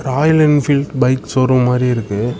Royal Enfield bike showroom மாறிருக்கு.